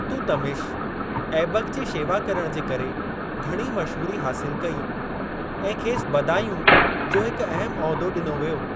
इल्तुतमिश, ऐबक जी शेवा करण जे करे घणी मशहूरी हासिल कई ऐं खेसि बदायूं जो हिक अहिम उहिदो ॾिनो वियो।